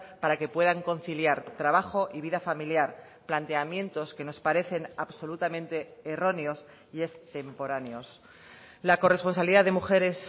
para que puedan conciliar trabajo y vida familiar planteamientos que nos parecen absolutamente erróneos y extemporáneos la corresponsabilidad de mujeres